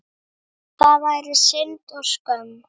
Það væri synd og skömm.